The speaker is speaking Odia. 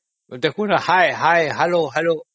ଦେଖୁନ hi hi hello hello